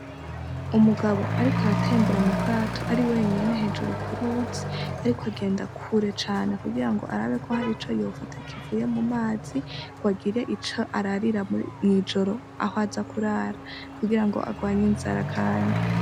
Umugabo ariko aratembera mu bwato ari wenyene hejuru kuruzi ariko agenda kure cane kugira arabe ko har'ico yofata kivuye mu mazi ngwagire ico ararira mw'ijoro ah'aza kurara kugira ngo agwanye inzara kandi.